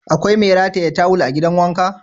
Akwai mai rataye tawul a gidan wanka?